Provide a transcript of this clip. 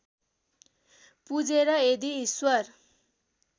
पुजेर यदि ईश्वर